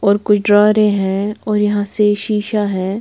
और कुछ ड्रारे हैं और यहाँ से शीशा है।